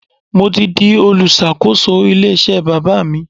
Mo ti di olùṣàkóso ilé iṣẹ́ bàbá mi.